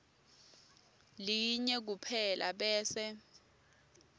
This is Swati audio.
linye kuphela bese